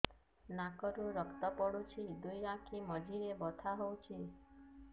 ନାକରୁ ରକ୍ତ ପଡୁଛି ଦୁଇ ଆଖି ମଝିରେ ବଥା ହଉଚି